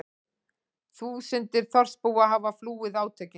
Þúsundir þorpsbúa hafa flúið átökin